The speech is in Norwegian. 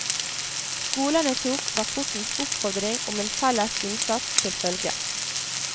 Skolene tok rapportens oppfordring om en felles innsats til følge.